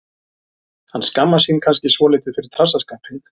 Hann skammast sín kannski svolítið fyrir trassaskapinn.